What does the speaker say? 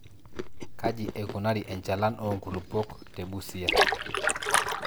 Kaji eikunari enchalan oonkulupuok te Busia.